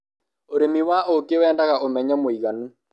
ũrĩmi wa ũkĩ wendaga ũmenyo mũiganu